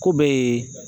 Ko bɛɛ ye